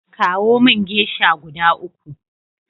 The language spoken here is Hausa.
Kawo min geisha guda uku.